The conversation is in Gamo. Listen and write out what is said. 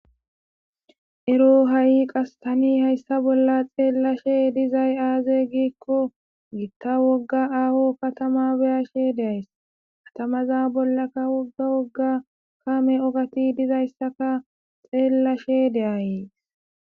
ero ha7i qastani hayssa bolla xeellashe dizay aaze giikko gitta wogga aaho katama beyashe deays katamaza bollaka wogga wogga kaame ogati dizayssaka xeellashe de7ayees